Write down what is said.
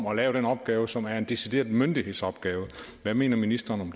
at lave den opgave som er en decideret myndighedsopgave hvad mener ministeren